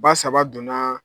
Ba saba donna